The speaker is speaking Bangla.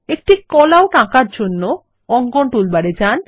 একটি কল আউট আঁকার জন্য অঙ্কন টুলবার এ যান